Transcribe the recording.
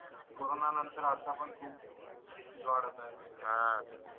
corona नंतर आता पन खूप डीझीस वाढत आहे अं